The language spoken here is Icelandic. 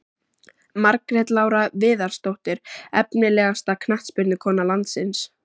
Margrét Lára Viðarsdóttir Efnilegasta knattspyrnukona landsins?